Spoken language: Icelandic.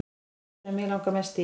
Sá sem mig langar mest í